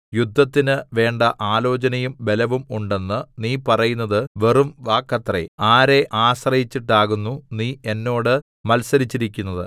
യുദ്ധത്തിന് വേണ്ട ആലോചനയും ബലവും ഉണ്ടെന്ന് നീ പറയുന്നത് വെറും വാക്കത്രേ ആരെ ആശ്രയിച്ചിട്ടാകുന്നു നീ എന്നോട് മത്സരിച്ചിരിക്കുന്നത്